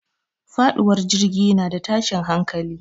Faɗuwar jirgi na da tashin hankali.